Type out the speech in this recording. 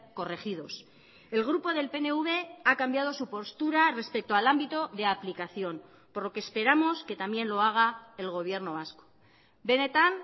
corregidos el grupo del pnv ha cambiado su postura respecto al ámbito de aplicación por lo que esperamos que también lo haga el gobierno vasco benetan